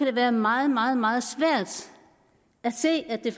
det være meget meget meget svært at se at det